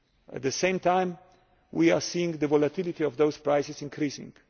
resources. At the same time we are seeing the volatility of those prices increasing.